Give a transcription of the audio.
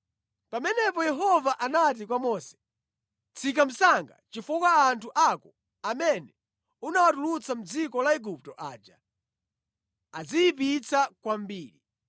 Pamenepo Yehova anati kwa Mose, “Tsika msanga, chifukwa anthu ako amene unawatulutsa mʼdziko la Igupto aja adziyipitsa kwambiri.